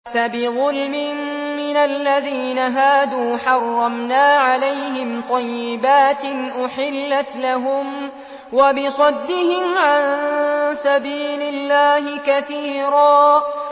فَبِظُلْمٍ مِّنَ الَّذِينَ هَادُوا حَرَّمْنَا عَلَيْهِمْ طَيِّبَاتٍ أُحِلَّتْ لَهُمْ وَبِصَدِّهِمْ عَن سَبِيلِ اللَّهِ كَثِيرًا